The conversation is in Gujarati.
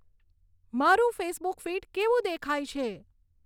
મારું ફેસબુક ફીડ કેવું દેખાય છે